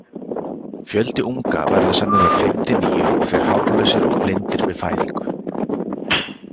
Fjöldi unga verður sennilega fimm til níu og þeir hárlausir og blindir við fæðingu.